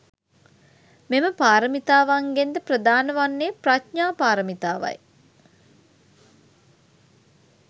මෙම පාරමිතාවන්ගෙන් ද ප්‍රධාන වන්නේ ප්‍රඥා පාරමිතාවයි.